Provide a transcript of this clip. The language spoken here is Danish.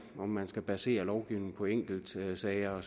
om man skal basere lovgivningen på enkeltsager